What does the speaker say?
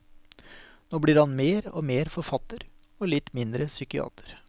Nå blir han mer og mer forfatter, og litt mindre psykiater.